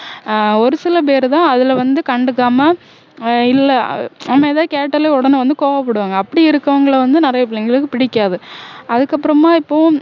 ஆஹ் ஒரு சில பேருதான் அதுல வந்து கண்டுக்காம ஆஹ் இல்ல ஆனா ஏதாவது கேட்டாலே உடனே வந்து கோவப்படுவாங்க அப்படி இருக்கவங்களை வந்து நிறைய பிள்ளைங்களுக்கு பிடிக்காது அதுக்கப்பறமா இப்போ